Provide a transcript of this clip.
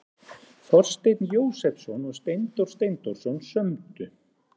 Þorsteinn Jósepsson og Steindór Steindórsson sömdu.